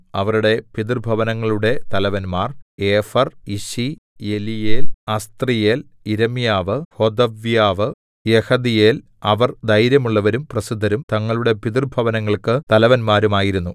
അവരുടെ പിതൃഭവനങ്ങളുടെ തലവന്മാർ ഏഫെർ യിശി എലീയേൽ അസ്ത്രീയേൽ യിരെമ്യാവ് ഹോദവ്യാവ് യഹദീയേൽ അവർ ധൈര്യമുള്ളവരും പ്രസിദ്ധരും തങ്ങളുടെ പിതൃഭവനങ്ങൾക്ക് തലവന്മാരും ആയിരുന്നു